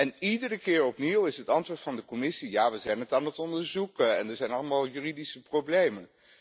En iedere keer opnieuw is het antwoord van de Commissie ja, we zijn het aan het onderzoeken en er zijn allemaal juridische problemen.